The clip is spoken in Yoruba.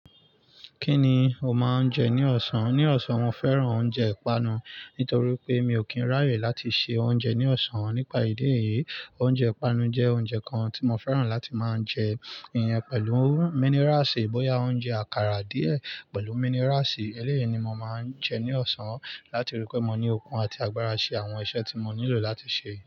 Kí ni o máa ń jẹ ní ọ̀sán? Ní ọ̀sán, mo fẹ́ràn oúnjẹ ìpanu. Nítorí pé mi ò kí ń ráyè láti se oúnjẹ ní ọ̀sán, nípa ìdí èyí, oúnjẹ ìpanu jẹ́ oúnjẹ kan tí mo fẹ́ràn láti máa jẹ, ìyẹn pẹ̀lú míniráṣì, bóyá oúnjẹ àkàrà díẹ̀ pẹ̀lú míniráṣì. Eleyi ni mo maa n je ni osan lati ri wipe mo ni okun ati agbara lati se awon ise ti mo nilo lati se.